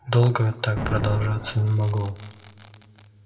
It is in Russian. долго так продолжаться не могло